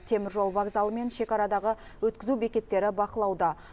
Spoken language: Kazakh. теміржол вокзалы мен шекарадағы өткізу бекеттері бақылауда